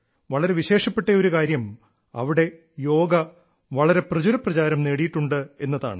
വളരെ വിശേഷപ്പെട്ട ഒരു കാര്യം അവിടെ യോഗ വളരെ പ്രചുരപ്രചാരം നേടിയിട്ടുണ്ട് എന്നതാണ്